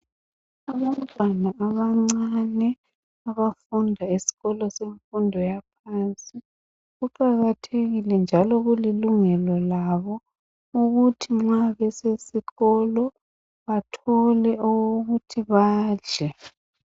Abantwana abancane abafunda esikolo semfundo yaphansi kuqakathekile njalo kulilungelo labo ukuthi nxa besesikolo bathole okokuthi badle.